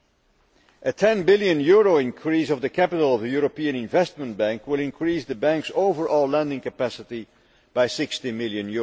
A EUR 10 billion increase in the capital of the European Investment Bank will increase the Bank's overall lending capacity by EUR 60 billion.